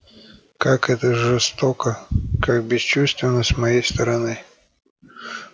как это жестоко как бесчувственно с моей стороны